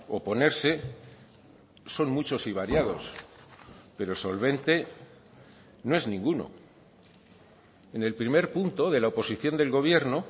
oponerse son muchos y variados pero solvente no es ninguno en el primer punto de la oposición del gobierno